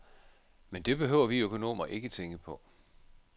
Men det behøver vi økonomer ikke tænke på.